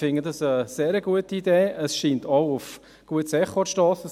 Ich finde es eine sehr gute Idee, und sie scheint auch auf ein gutes Echo zu stossen.